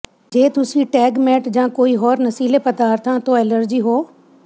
ਜੇ ਤੁਸੀਂ ਟੈਗਮੈਟ ਜਾਂ ਕੋਈ ਹੋਰ ਨਸ਼ੀਲੇ ਪਦਾਰਥਾਂ ਤੋਂ ਐਲਰਜੀ ਹੋ